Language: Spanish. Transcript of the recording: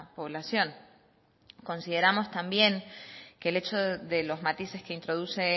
población consideramos también que el hecho de los matices que introduce